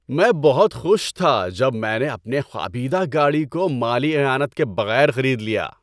میں بہت خوش تھا جب میں نے اپنے خوابیدہ گاڑی کو مالی اعانت کے بغیر خرید لیا۔